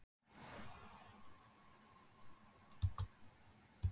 Sindri: Já og fólk getur fylgst með þessu á Vísi?